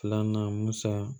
Filanan musa